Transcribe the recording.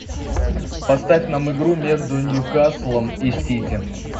поставь нам игру между ньюкаслом и сити